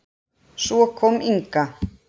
Svo kom Inga.